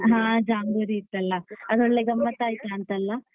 ಅಲ್ಲಿಗೆ ಹ ಜಾಂಬೂರಿ ಇತ್ತಲ್ಲ ಅದೊಳ್ಳೆ ಗಮ್ಮತ್ ಆಯ್ತಾಂತಲ್ಲ?